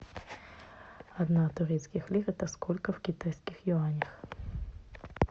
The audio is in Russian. одна турецких лир это сколько в китайских юанях